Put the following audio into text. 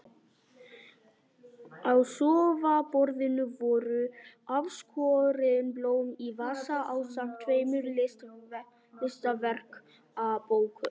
Á sófaborðinu voru afskorin blóm í vasa ásamt tveimur listaverkabókum.